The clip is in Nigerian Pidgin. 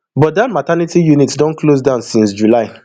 but dat maternity unit don close down since july